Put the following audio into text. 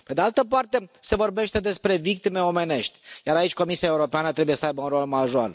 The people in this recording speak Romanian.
Pe de altă parte, se vorbește despre victime omenești, iar aici Comisia Europeană trebuie să aibă un rol major.